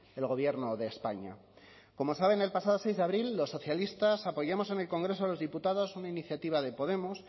el gobierno de españa como saben el pasado seis de abril los socialistas apoyamos en el congreso de los diputados una iniciativa de podemos